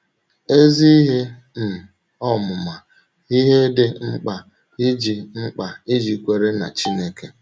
Ezi Ihe um Ọmụma — Ihe Dị Mkpa Ịji Mkpa Ịji Kwèrè n’Chínèké